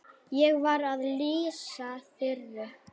Ég var að lýsa Þuru.